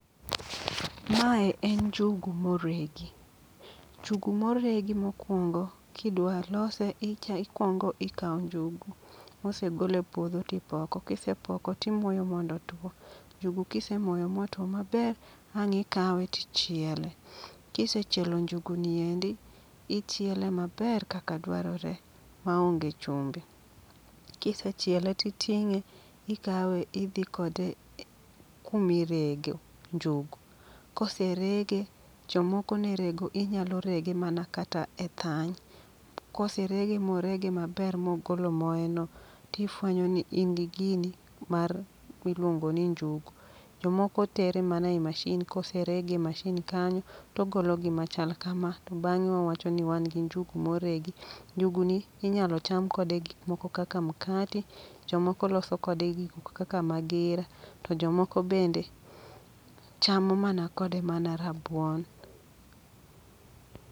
Mae en njugu moregi, njugu moregi mokwongo kidwa lose icha ikwongo ikawo njugu mosegol e puodho tipoko. Kisepoko timoyo mondo otwo, njugu kisemoyo motwo maber, ang' ikawe tichiele. Kisechielo njugu niendi, ichiele maber kaka dwarore maonge chumbi. Kisechiele titing'e, ikawe idhi kode e kumi rege njugu. Kose rege, jomoko ne rego inyalo rege mana kata e thany. Kose rege morege maber mogolo moye no, tifwenyo ni in gi gini mar miluongo ni njugu. Jomoko tere mana e mashin kose rege e mashin kanyo, togolo gima chal kama. To bang'e wawacho ni wan gi njugu moregi. Njugu ni inyalo cham kode gik moko kaka mkati, jomoko loso kode gikmoko kaka magira, to jomoko bende chamo mana kode mana rabuon.